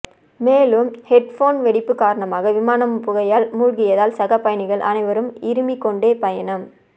மேலும் ஹெட்போன் வெடிப்பு காரணமாக விமானம் புகையால் மூழ்கியதால் சக பயணிகள் அனைவரும் இருமிக்கொண்டே பயணம்